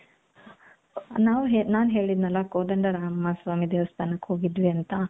ನಾವ್ ಹೇಳಿ ನಾನ್ ಹೇಳಿದ್ನಲ್ಲ ಕೋದಂಡರಾಮ ಸ್ವಾಮಿ ದೇವಸ್ಥಾನಕ್ಕೆ ಹೋಗಿದ್ವಿ ಅಂತ.